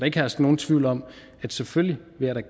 ikke herske nogen tvivl om at jeg selvfølgelig